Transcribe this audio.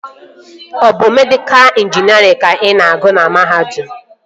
Ọ bụ mekaniika ịnjinierịn ka ị gụrụ na mahadum?